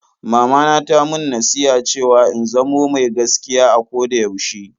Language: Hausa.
Mamana ta mun nasiha cewa in zamo mai gaskiya a koda yaushe.